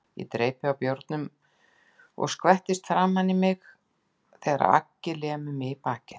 Ég dreypi á bjórnum og skvettist framan á mig þegar Aggi lemur mig í bakið.